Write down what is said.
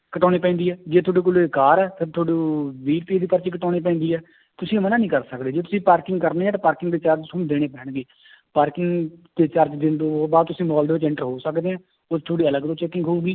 ਕਟਾਉਣੀ ਪੈਂਦੀ ਹੈ, ਜੇ ਤੁਹਾਡੇ ਕੋਲੇ ਕਾਰ ਹੈ ਫਿਰ ਤੁਹਾਨੂੰ ਵੀਹ ਰੁਪਏ ਦੀ ਪਰਚੀ ਕਟਾਉਣੀ ਪੈਂਦੀ ਹੈ ਤੁਸੀਂ ਮਨਾ ਨੀ ਕਰ ਸਕਦੇ ਜੇ ਤੁਸੀਂ parking ਕਰਨੀ ਹੈ ਤਾਂ parking ਦੇ charge ਤੁਹਾਨੂੰ ਦੇਣੇ ਪੈਣਗੇ parking ਦੇ charge ਦੇਣ ਤੋਂ ਬਾਅਦ ਤੁਸੀਂ ਮਾਲ ਦੇ ਵਿੱਚ enter ਹੋ ਸਕਦੇ ਹੈ ਉਹ ਤੁਹਾਡੀ ਅਲੱਗ ਤੋਂ checking ਹੋਊਗੀ